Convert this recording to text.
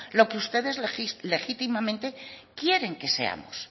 lo que ustedes legítimamente quieren que seamos